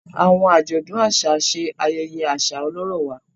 Àwọn ajọdun aṣa ṣe ayẹyẹ aṣa ọlọrọ wà